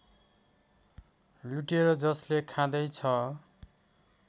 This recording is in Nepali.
लुटेर जसले खाँदैछ